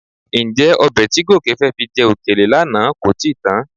Ǹjẹ́ ọbẹ̀ tí Gòkè fẹ́ fi jẹ òkèlè lánàá kò ti kan?